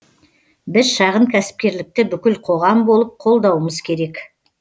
біз шағын кәсіпкерлікті бүкіл қоғам болып қолдауымыз керек